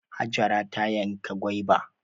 Hajara ta yanka gwaiba.